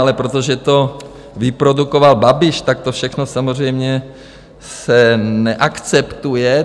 Ale protože to vyprodukoval Babiš, tak to všechno samozřejmě se neakceptuje.